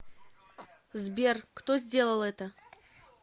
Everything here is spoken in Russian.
сбер кто сделал это